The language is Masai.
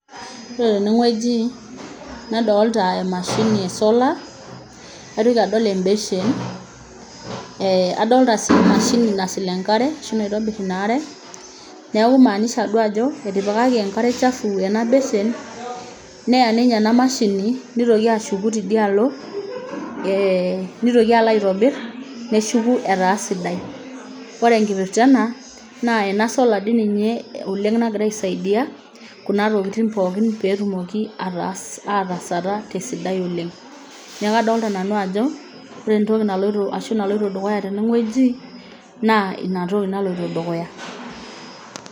Ore tenewueji nadolta emashini e solar naitoki adol embeshen eh adolta sii emashini nasil enkare ashu naitobirr in are neku kimaanisha duo ajo etipikaki enkare chafu ena beshen neya ninye ena mashini nitoki ashuku tidialo eh nitoki alo aitobirr neshuku etaa sidai ore enkipirrta ena naa ena solar dii ninye oleng nagira aisaidia kuna tokitin pookin petumoki ataas atasata tesidai oleng niaku kadolta nanu ajo ore entoki naloito ashu naloito dukuya teneng'ueji naa inatoki naloito dukuya.